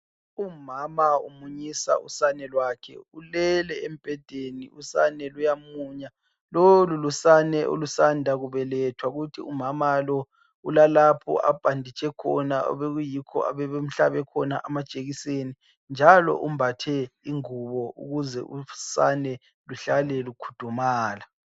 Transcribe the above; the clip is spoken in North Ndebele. Umama umunyisa usane lwakhe. Ulele embhedeni, usane luyamunya. Lolu lusane olusanda kubelethwa kuthi umama lo ulalapho abhanditshe khona obekuyikho abebemhlabe khona amajekiseni. Njalo umbathe ingubo ukuze usane luhlale lukhudumala.